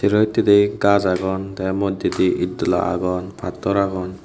sero hittedi gaj agon tey moddedi et dola agon pattor agon.